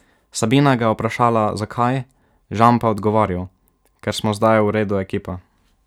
Sabina ga je vprašala, zakaj, Žan pa je odgovoril: 'Ker smo zdaj v redu ekipa.